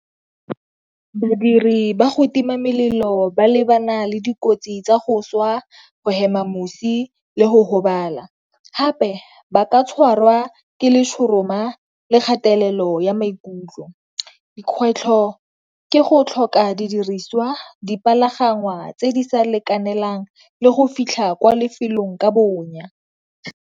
Badiri ba go tima melelo ba lebana le dikotsi tsa go swa, go hema mosi, le go gobala. Gape ba ka tshwarwa ke letshoroma le kgatelelo ya maikutlo. Dikgwetlho ke go tlhoka didiriswa, tse di sa lekanelang, le go fitlha ko lefelong ka bonya.